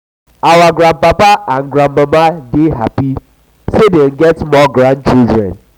our grandpapa and grandmama dey happy sey dem get more grandchildren.